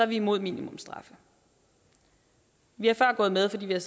vi imod minimumsstraffe vi er før gået med fordi vi har